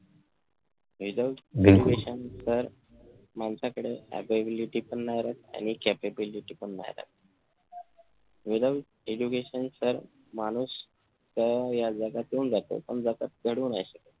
without education sir माणसाकडे ability पण नाही राहत आणि capability पण नाही राहत. without education sir माणूस या जगात येऊन जातो पण जगात घडवू नाही शकत